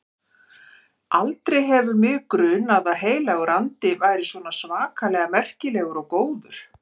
Aldrei hefur mig grunað að Heilagur Andi væri svona svakalega merkilegur og góður.